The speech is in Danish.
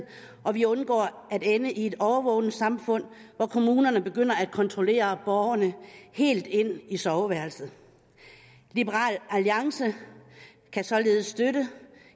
og vi undgår at ende i et overvågningssamfund hvor kommunerne begynder at kontrollere borgerne helt ind i soveværelset liberal alliance kan således støtte